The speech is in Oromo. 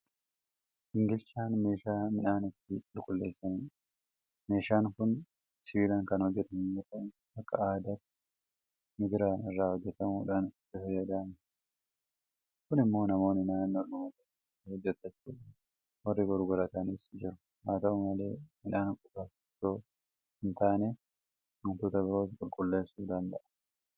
Gingilchaan meeshaa midhaan ittiin qulqulleessanidha. Meeshaan kun sibiilaan kan hojjetamu yoota'u; Akka aadaattis migira irraa hojjetamuudhaan itti fayyadamama. Kun immoo namoonni naannoodhuma jiranitti hojjetachuudhaan warri gurguratanis jiru. Haata'u malee midhaan qofaaf itoo hintaane waantota biroos qulqulleessuu danda'a.